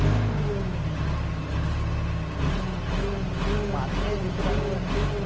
মাসে দুশো টাকা করে নেয়।